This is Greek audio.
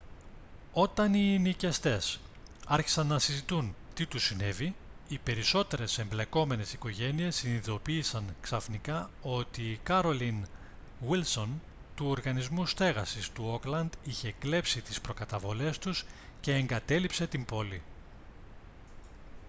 όταν οι ενοικιαστές άρχισαν να συζητούν τι τους συνέβη οι περισσότερες εμπλεκόμενες οικογένειες συνειδητοποίησαν ξαφνικά ότι η carolyn wilson του οργανισμού στέγασης του όκλαντ είχε κλέψει τις προκαταβολές τους και εγκατέλειψε την πόλη